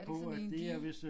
Er det ikke sådan en dige